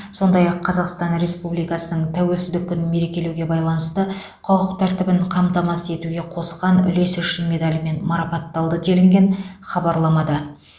сондай ақ қазақстан республикасының тәуелсіздік күнін мерекелеуге байланысты құқық тәртібін қамтамасыз етуге қосқан үлесі үшін медалімен марапатталды делінген хабарламада